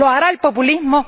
¿Lo hará el populismo?